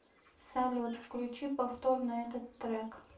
салют включи повтор на этот трек